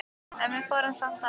En við fórum samt af stað.